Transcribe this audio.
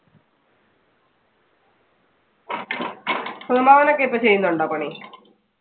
അമ്മാവൻ ഒക്കെ ഇപ്പൊ ചെയ്യുന്നുണ്ടോ പണി?